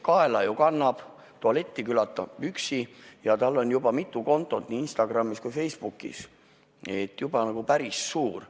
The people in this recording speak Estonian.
Kaela ta ju kannab, tualetis käib üksi ja tal on juba mitu kontot nii Instagramis kui ka Facebookis, juba nagu päris suur.